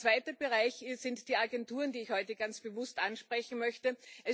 Ein zweiter Bereich sind die Agenturen, die ich heute ganz bewusst ansprechen möchte.